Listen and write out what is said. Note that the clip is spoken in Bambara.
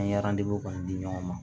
An ye kɔni di ɲɔgɔn ma